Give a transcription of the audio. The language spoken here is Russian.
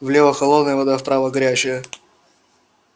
влево холодная вода вправо горячая